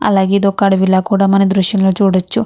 అలాగే ఇది ఒక అడవిలా కూడా మన దృశ్యంలో చూడొచ్చు.